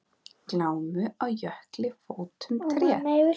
Glámu á jökli fótum treð.